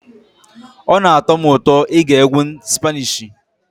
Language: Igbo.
Ọ na-atọ m ụtọ ige egwu spanishi.